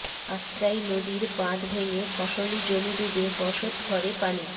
আত্রাই নদীর বাঁধ ভেঙে ফসলি জমি ডুবে বসত ঘরে পানি